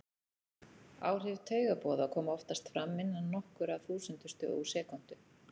Áhrif taugaboða koma oftast fram innan nokkurra þúsundustu úr sekúndu.